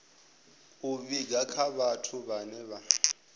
vhiga kha vhathu vhane vha